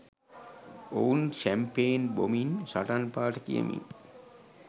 ඔවුන් ෂැම්පෙන් බොමින් සටන් පාඨ කියමින්